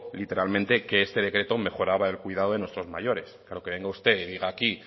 literalmente que este decreto mejoraba el cuidado de nuestros mayores pero que venga usted y diga aquí